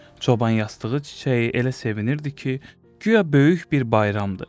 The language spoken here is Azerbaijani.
Çoban yastığı çiçəyi elə sevinirdi ki, guya böyük bir bayramdır.